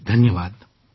જી ધન્યવાદ